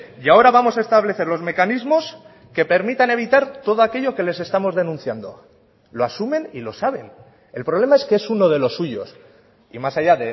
y ahora vamos a establecer los mecanismos que permitan evitar todo aquello que les estamos denunciando lo asumen y lo saben el problema es que es uno de los suyos y más allá